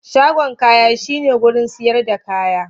Shagon kaya shine wurin siyar da kaya.